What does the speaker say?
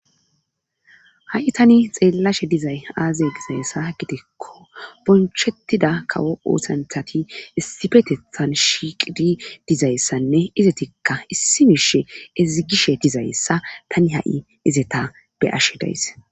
ha7i tani xeellashe dizay aaze dizayssa gidikko bonchettida kawo oosanthati issifetethan shiqidi dizayssanne izetikka issi mishe ezigishe dizayssa tani ha7i izeta beyashe days